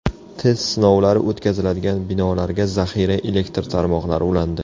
Test sinovlari o‘tkaziladigan binolarga zaxira elektr tarmoqlari ulandi.